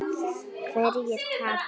Hverjir tapa?